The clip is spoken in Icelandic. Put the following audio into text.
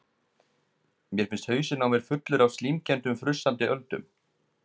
Mér finnst hausinn á mér fullur af slímkenndum frussandi öldum.